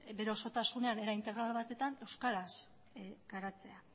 bere osotasunean era integral batetan euskaraz garatzea